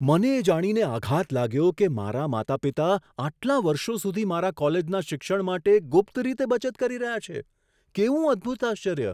મને એ જાણીને આઘાત લાગ્યો કે મારા માતા પિતા આટલા વર્ષો સુધી મારા કોલેજના શિક્ષણ માટે ગુપ્ત રીતે બચત કરી રહ્યા છે. કેવું અદ્ભુત આશ્ચર્ય!